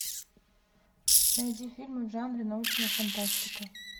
найди фильмы в жанре научная фантастика